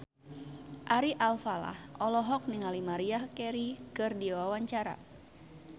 Ari Alfalah olohok ningali Maria Carey keur diwawancara